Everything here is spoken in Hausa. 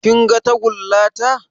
Kin ga tagulla ta?